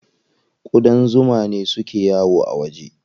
Ƙudan zuma ne suke yawo a waje.